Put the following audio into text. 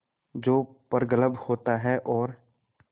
जो प्रगल्भ होता है और